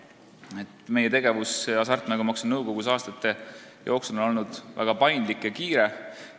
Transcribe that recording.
Aastate jooksul on meie tegevus hasartmängumaksu nõukogus olnud väga paindlik ja kiire.